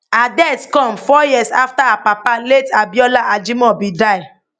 her death come four years afta her papa late abiola ajimobi die